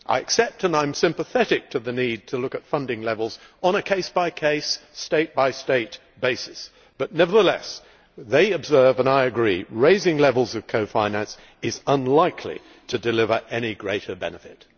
I accept and am sympathetic to the need to consider funding levels on a case by case, state by state basis, but nevertheless they observe and I agree that raising levels of co finance is unlikely to deliver any additional benefit.